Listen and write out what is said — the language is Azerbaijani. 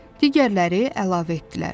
Digərləri əlavə etdilər.